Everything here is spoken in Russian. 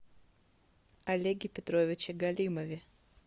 олеге петровиче галимове